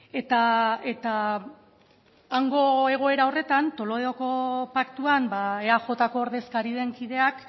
eta hango egoera horretan toledoko paktuan eajko ordezkari den kideak